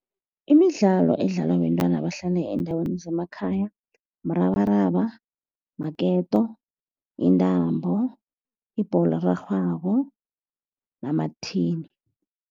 Imidlalo edlalwa bentwana abahlala eendaweni zemakhaya murabaraba, maketo, yintambo, ibholo erarhwako, nama-tin.